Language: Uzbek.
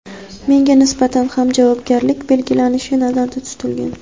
menga nisbatan ham javobgarlik belgilanishi nazarda tutilgan.